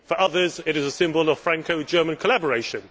For others it is a symbol of Franco German collaboration.